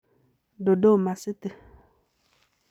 Dodoma city.